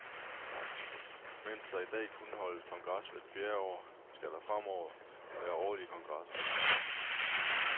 Mens der i dag kun holdes kongres hvert fjerde år, skal der fremover være årlige kongresser.